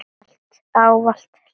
Ávallt hlýr.